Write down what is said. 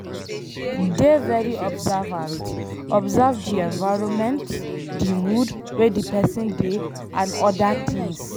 Dey very observant, observe di environment, di mood wey di person dey and oda things